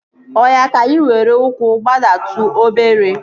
Oya na, ka anyị were ụkwụ gbadatu obere